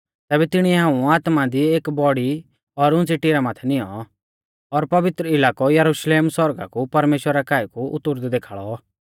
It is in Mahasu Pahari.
तैबै तिणिऐ हाऊं आत्मा दी एक बौड़ी और उंच़ी टिरा माथै निऔं और पवित्र इलाकौ यरुशलेम सौरगा कु परमेश्‍वरा काऐ कु उतुरदै देखाल़ौ